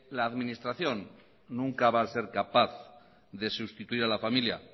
la administración nunca va a ser capaz de sustituir a la familia